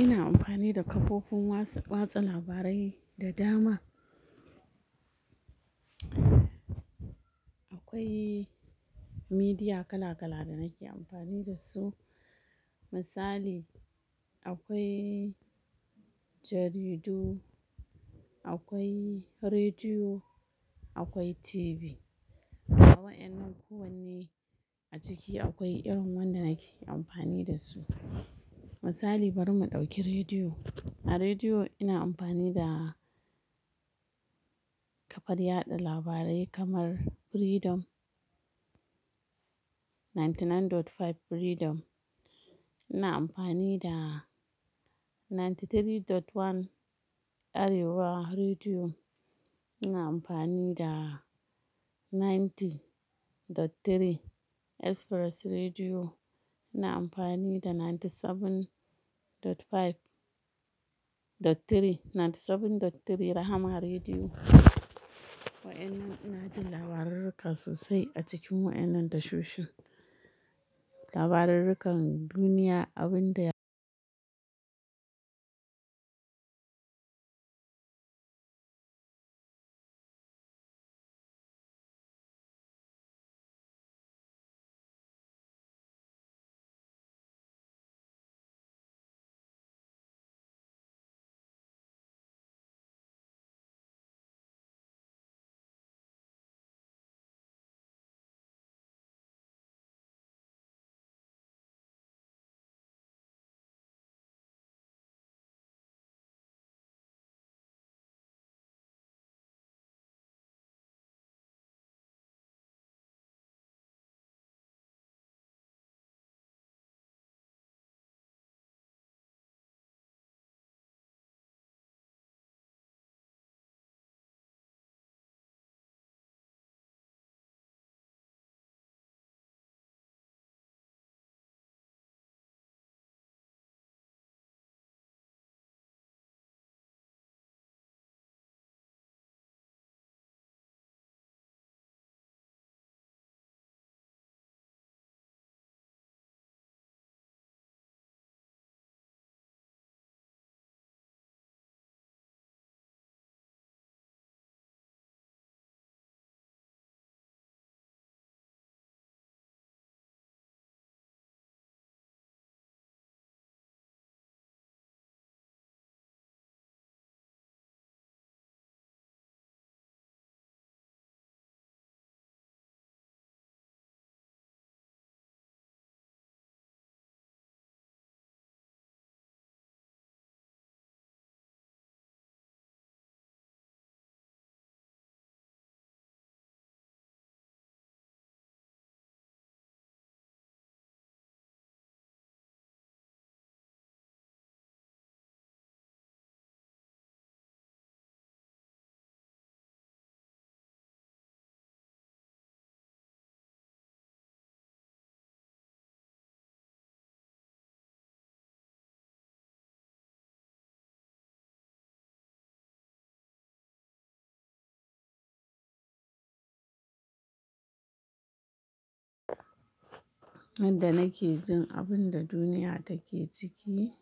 Ina amfani da kafofin watsa, watsa labarai da dama. Akwai media kala-kala da nake amfani da su. Misali, akwai jaridu, akwai rediyo, akwai TV. Waƴannan kowanne, a ciki akwai irin wanda nake amfani da su. Misali, bari mu ɗauki rediyo. A rediyo ina amfani da, kafar yada labarai kamar, Freedom ninty nine dot five Freedom. Ina amfani da 93.1 Arewa Rediyo. Ina amfani da 90.3 Express Rediyo. Ina amfani da 97.5.3, 97.3 Rahama Rediyo. Waƴannan ina jin labarurruka sosai a cikin waƴannan tashoshin. Labarurrukan duniya abin da nanda nake jin abun da duniya take ciki,